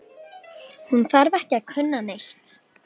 Hún þarf ekki að kunna neitt.